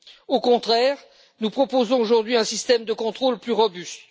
Au contraire, nous proposons aujourd'hui un système de contrôle plus robuste.